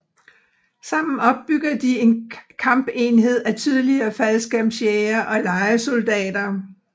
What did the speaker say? Sammen opbygger de en kampenhed af tidligere faldskærmsjægere og lejesoldater